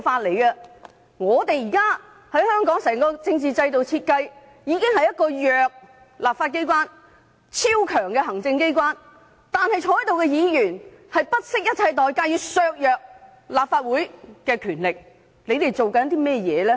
現時香港整個政治制度的設計，已是弱勢的立法機關對超強勢的行政機關，但在席議員仍不惜一切代價，要削弱立法會的權力，他們究竟在做甚麼？